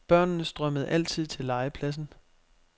Børnene strømmede altid til legepladsen.